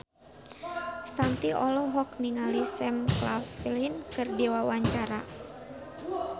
Shanti olohok ningali Sam Claflin keur diwawancara